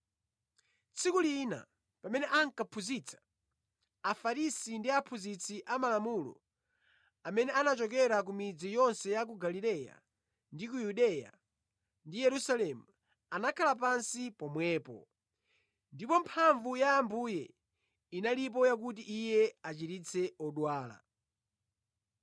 Tsiku lina pamene ankaphunzitsa, Afarisi ndi aphunzitsi amalamulo, amene anachokera ku midzi yonse ya Galileya ndi ku Yudeya ndi Yerusalemu, anakhala pansi pomwepo. Ndipo mphamvu ya Ambuye inalipo yakuti Iye achiritse odwala.